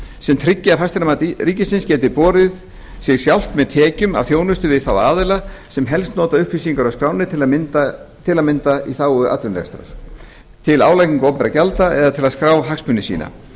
sem tryggi að fasteignamat ríkisins geti borið sig sjálft með tekjum af þjónustu við aðila sem helst nota upplýsingar úr skránni til að mynda í þágu atvinnurekstrar til álagningar opinberra gjalda eða til að skrá hagsmuni sína